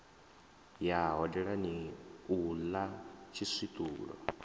ya hodelani u ḽa tshiswiṱulo